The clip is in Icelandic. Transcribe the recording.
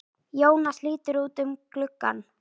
Jónas lítur út um gluggann.